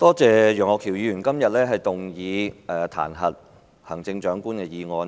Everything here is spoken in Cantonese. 多謝楊岳橋議員今天提出這項彈劾行政長官的議案。